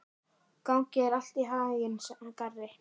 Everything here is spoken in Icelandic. Gangi þér allt í haginn, Garri.